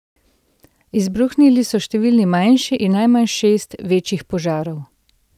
Izbruhnili so številni manjši in najmanj šest večjih požarov.